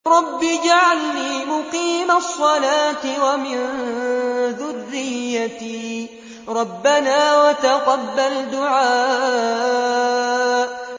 رَبِّ اجْعَلْنِي مُقِيمَ الصَّلَاةِ وَمِن ذُرِّيَّتِي ۚ رَبَّنَا وَتَقَبَّلْ دُعَاءِ